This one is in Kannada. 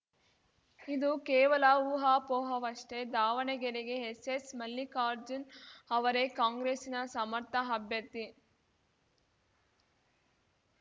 ಇದು ಕೇವಲ ಊಹಾಪೋಹವಷ್ಟೇ ದಾವಣಗೆರೆಗೆ ಎಸ್ಸೆಸ್‌ ಮಲ್ಲಿಕಾರ್ಜುನ್ ಅವರೇ ಕಾಂಗ್ರೆಸ್ಸಿನ ಸಮರ್ಥ ಅಭ್ಯರ್ಥಿ